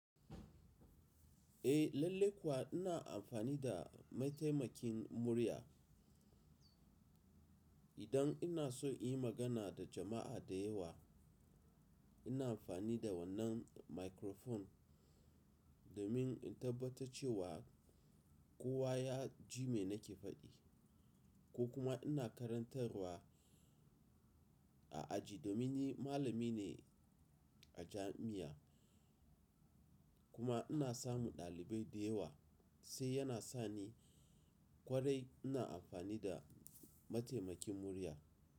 Eh lalle kuwa ina amfani da mataimakin murya. Idan ina so in yi magana da jama'a da yawa, ina amfani da wannan microphone. Domin in tabbata cewa kowa ya ji me nake faɗi. Ko kuma ina karantarwa a aji domin ni malami ne a jami'a kuma ina samu ɗalibai da yawa, sai yana sa ni kwarai ina amfani da mataimakin murya.